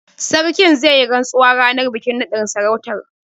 Sarkin zai yi rantsuwa ranar bikin naɗin sarautar.